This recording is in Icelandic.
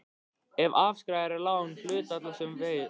ef afskrifað er lán sem hluthafa var veitt.